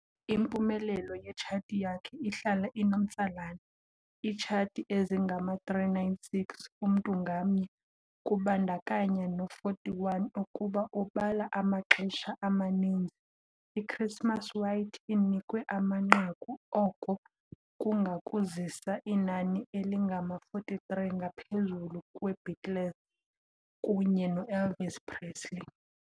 Impumelelo yetshathi yakhe ihlala inomtsalane- Iitshathi ezingama-396 umntu ngamnye, kubandakanya no-41. Ukuba ubala amaxesha amaninzi "i-Christmas White" inikwe amanqaku, oko kungakuzisa inani elingama-43, ngaphezulu kwe-Beatles kunye no-Elvis Presley.